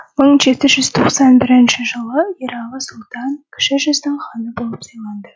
мың жеті жүз тоқсан бірінші жылы ералы сұлтан кіші жүздің ханы болып сайланды